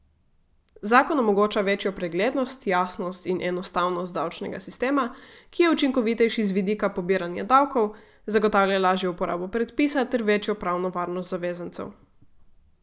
Zakon omogoča večjo preglednost, jasnost in enostavnost davčnega sistema, ki je učinkovitejši z vidika pobiranja davkov, zagotavlja lažjo uporabo predpisa ter večjo pravno varnost zavezancev.